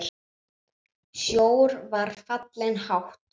Sjór var fallinn hátt.